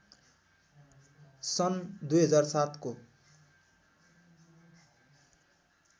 सन् २००७ को